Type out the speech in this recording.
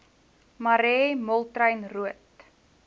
marais moltrein roodt